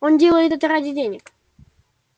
он делает это ради денег